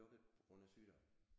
Lukket på grund af sygdom